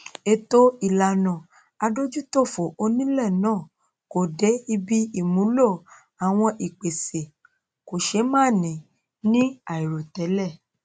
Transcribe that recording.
ètò ìlànà adójútòfò onílé náà kò dé ibi ìmúlọ àwọn ìpèsè kòṣémánìí ní àìròtẹlẹ